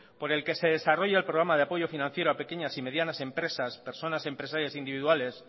por el que se desarrolla el programa de apoyo financiero a pequeñas y medianas empresas personas y empresarias individuales